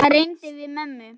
Hann reyndi við mömmu!